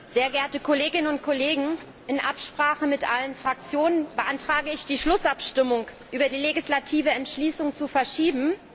Herr Präsident, sehr geehrte Kolleginnen und Kollegen! In Absprache mit allen Fraktionen beantrage ich, die Schlussabstimmung über die legislative Entschließung zu verschieben.